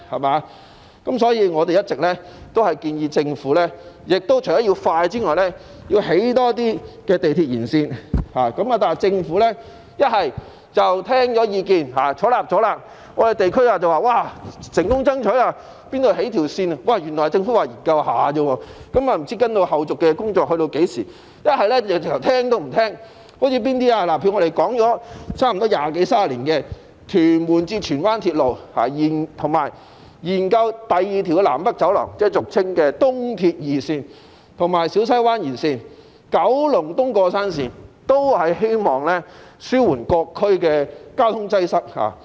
可是，對於我們的意見，政府要不表示會採納，於是我們在地區便說成功爭取興建鐵路，但原來政府說的只是研究而已，後續工作不知會在何時開始；要不政府便完全不接納我們的意見，例如我們差不多提出了二十多三十年的屯門至荃灣鐵路，以及建議政府研究發展第二條南北走廊，即俗稱的東鐵二綫，以及小西灣延綫和九龍東過山綫，都是希望紓緩各區的交通擠塞。